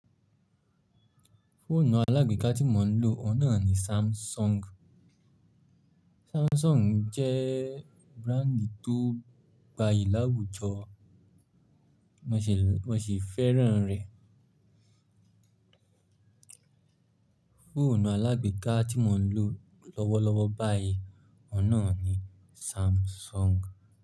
Fóònù alágbèéká tí mò ń lò ọ̀nà ni Samsung. Samsung jẹ́ brándì tó gbayì láwùjọ, wọ́n sì fẹ́ràn rẹ̀. Fóònù alágbèéká tí mò ń lò lọ́wọ́lọ́wọ́ báyìí ọ̀nà ni Samsung.